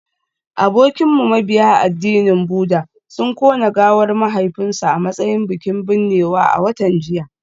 Abokinmu mabiya addinin Buddah sun kona gawar mahaifinsu a matsayin bikin binnewa a watan jiya